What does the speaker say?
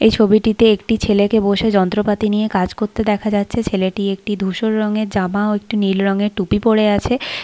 এই ছবিটিতে একটি ছেলেকে বসে যন্ত্রপাতি নিয়ে কাজ করতে দেখা যাচ্ছে ছেলেটি একটি ধূসর রঙের জামা ও একটি নীল রঙের টুপি পরে আছে ।